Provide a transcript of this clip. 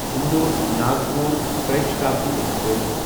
اندور ناگپور ترِی شتابڈی ایکسپریس